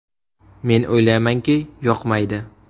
Men o‘ylaymanki, yoqmaydi.